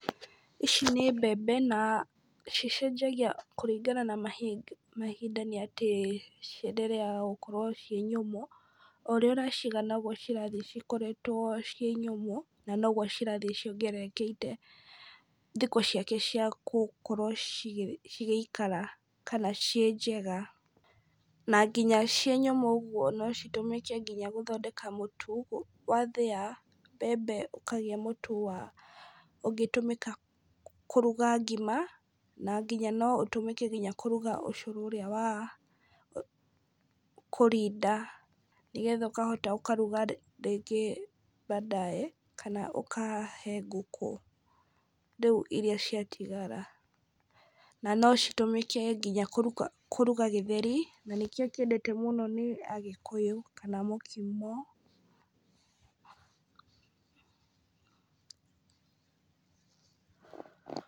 Ici nĩ mbembe na cicenjagia kũringana na ma mahinda nĩ atĩ, ciendereaga gũkorwo ciĩ nyũmũ, o ũrĩa ũrathiĩ ũcigĩte nogwo cirakorwo cirĩ nyũmũ, na nogwo cirathiĩ ciongererekete thikũ ciake ciagũkorwo cigĩ cigĩikara kana ciĩ njega, na nginya ciĩ nyũmũ ũgwo no citũmĩke gũthondeka mũtu, wathĩa mbembe ũkagĩa mũtu wa, ũngĩtũmĩka kũruga ngima, na nginya no ũtũmĩke nginya kũruga ũcũrũ ũrĩa wa kũrinda, nĩgetha ũkahota ũkaruga rĩngĩ baadaye, kana ũkahe ngũkũ, rĩu iria ciatigara , na no citũmĩke nginya kũruga gĩtheri, na nĩkĩo kĩendete mũno , nĩ agĩkũyũ kana mũkimo.